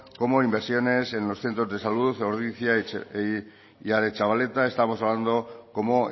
como inversiones en los centros de salud ordizia y aretxabaleta estamos hablando como